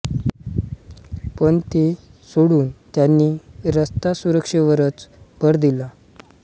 पण ते सोडून त्यांनी रस्ता सुरक्षेवरच भर दिला